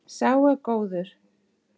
Sá er góður.